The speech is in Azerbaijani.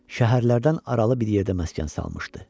Şəhərlərdən aralı bir yerdə məskən salmışdı.